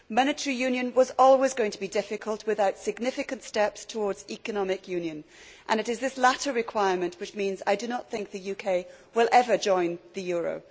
Monetary union was always going to be difficult without significant steps towards economic union and it is this latter requirement which means I do not think the UK will ever join the euro.